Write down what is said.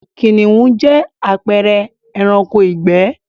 Kìnìhún jẹ́ àpẹẹre ẹranko ìgbẹ́